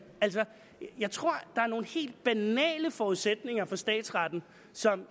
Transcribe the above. altså jeg tror der er nogle helt banale forudsætninger for statsretten som